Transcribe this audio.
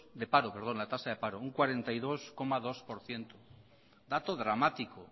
de paro la tasa de paro un cuarenta y dos coma dos por ciento dato dramático